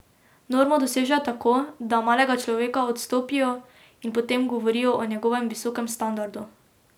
Normo dosežejo tako, da malega človeka odstopijo in potem govorijo o njegovem visokem standardu.